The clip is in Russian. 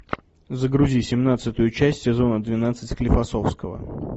загрузи семнадцатую часть сезона двенадцать склифосовского